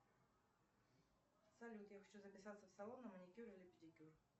салют я хочу записаться в салон на маникюр или педикюр